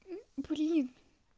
блин